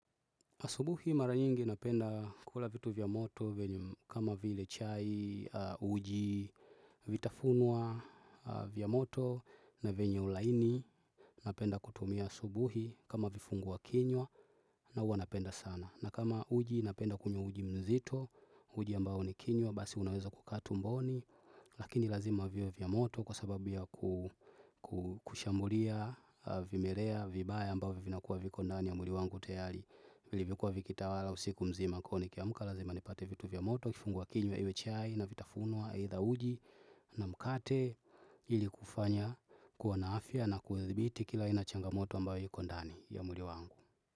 Asubuhi mara nyingi napenda kula vitu vya moto venye kama vile chai, uji, vitafunwa vya moto na vinyo laini napenda kutumia asubuhi kama vifungua kinywa na uwa napenda sana. Na kama uji napenda kunywa uji mzito, uji ambao nikinywa, basi unaweza kukaa tumboni, lakini lazima viwe vya moto kwa sababu ya kushambulia, vimelea, vibaya ambao vina kuwa viko ndani ya mwili wangu tayali. Vilivyokuwa vikitawala, usiku mzima, kwahio nikiamuka, lazima nipate vitu vya moto, kifungua kinywa iwe chai na vitafunwa, either uji na mkate ili kufanya kuwa na afya na kuwathibiti kila aina changamoto ambao yuko ndani ya mwili wangu.